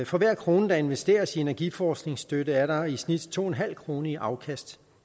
for hver krone der investeres i energiforskningsstøtte er der i snit to en halv kroner i afkast